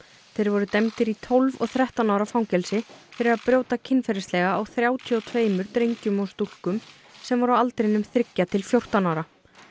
þeir voru dæmdir í tólf og þrettán ára fangelsi fyrir að brjóta kynferðislega á þrjátíu og tveimur drengjum og stúlkum sem voru á aldrinum þriggja til fjórtán ára